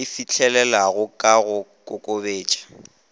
e fihlelelwago ka go kokobetša